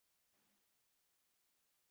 Ég gæti það ekki í dag.